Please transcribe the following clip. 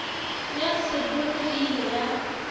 ya sepoko e ile ya